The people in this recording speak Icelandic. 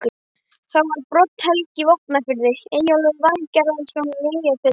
Þá var Brodd-Helgi í Vopnafirði, Eyjólfur Valgerðarson í Eyjafirði